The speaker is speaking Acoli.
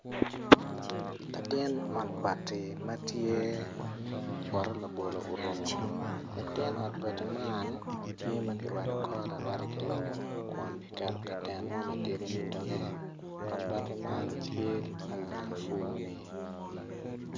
Latin ot bati ma tye poto labolo orumu tye ma kirwado kore arwada ki lobo kun kiketo katen mo matidi i doge ot bati man tye pa lapur ni.